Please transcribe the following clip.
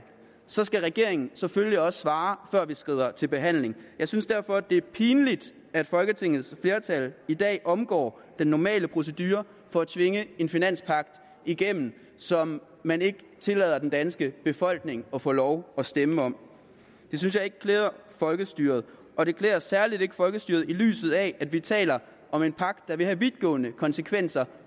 så skal regeringen selvfølgelig også svare før vi skrider til en behandling jeg synes derfor det er pinligt at folketingsflertallet i dag omgår den normale procedure for at tvinge en finanspagt igennem som man ikke tillader den danske befolkning at få lov at stemme om det synes jeg ikke klæder folkestyret og det klæder særligt ikke folkestyret i lyset af at vi taler om en pagt der vil få vidtgående konsekvenser